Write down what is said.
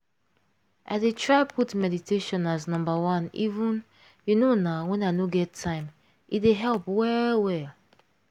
i dey try put meditation as number oneeven you know na when i no get time - e dey help well well.